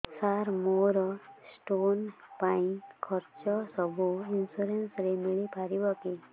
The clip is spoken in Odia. ସାର ମୋର ସ୍ଟୋନ ପାଇଁ ଖର୍ଚ୍ଚ ସବୁ ଇନ୍ସୁରେନ୍ସ ରେ ମିଳି ପାରିବ କି